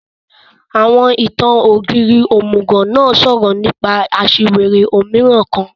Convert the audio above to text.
Àwọn ìtan-Ogírì ómugọ náà sọrọ nipa aṣiwere ómiràn kan